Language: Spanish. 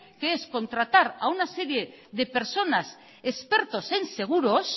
que es contratar a una serie de personas expertos en seguros